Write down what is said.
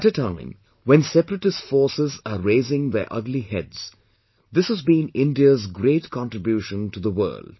At a time when separatist forces are raising their ugly heads this has been India's great contribution to the world